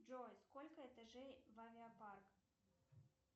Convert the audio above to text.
джой сколько этажей в авиапарк